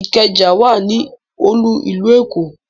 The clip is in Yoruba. Ìkẹjà ní olú ìlú Èkó